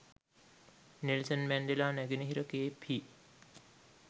Nelson Mandela නැගෙනහිර Cape හි